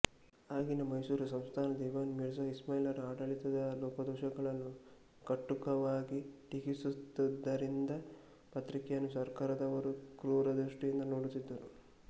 ಆಗಿನ ಮೈಸೂರು ಸಂಸ್ಥಾನದ ದಿವಾನ್ ಮಿರ್ಝಾ ಇಸ್ಮಾಯಿಲರ ಆಡಳಿತದ ಲೋಪದೋಷಗಳನ್ನು ಕಟುವಾಗಿ ಟೀಕಿಸುತ್ತಿದ್ದುದರಿಂದ ಪತ್ರಿಕೆಯನ್ನು ಸರ್ಕಾರದವರು ಕ್ರೂರದೃಷ್ಟಿಯಿಂದ ನೊಡುತ್ತಿದ್ದರು